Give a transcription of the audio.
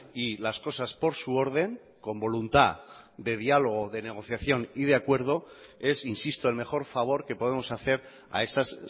y las cosas por su orden con voluntad de diálogo de negociación y de acuerdo es insisto el mejor favor que podemos hacer a esas